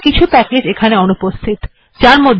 কিন্তু কিছু প্যাকেজ্ এখানে উপস্থিত নেই